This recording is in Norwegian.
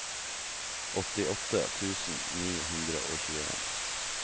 åttiåtte tusen ni hundre og tjueen